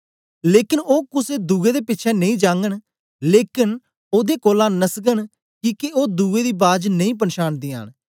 लेकन ओ कुसे दुए दे पिछें नेई जागन लेकन ओदे कोलां नसगन किके ओ दुए दी बाज नेई पंछानदीयां न